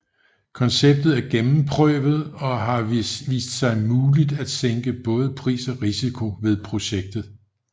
Konceptet er gennemprøvet og har vist sig muligt at sænke både pris og risiko ved projektet